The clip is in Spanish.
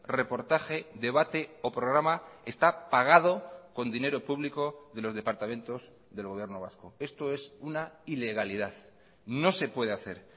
reportaje debate o programa está pagado con dinero público de los departamentos del gobierno vasco esto es una ilegalidad no se puede hacer